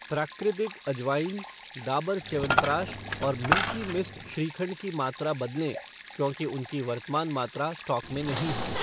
प्राकृतिक अजवाइन , डाबर च्यवनप्रकाश और मिल्की मिस्ट श्रीखंड की मात्रा बदलें क्योंकि उनकी वर्तमान मात्रा स्टॉक में नहीं है